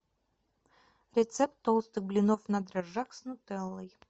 рецепт толстых блинов на дрожжах с нутеллой